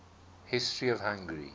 history of hungary